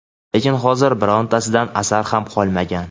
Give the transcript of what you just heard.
lekin hozir birontasidan asar ham qolmagan..